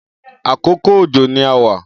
Akókó ójó ni àwà